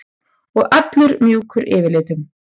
Og allur mjúkur yfirlitum.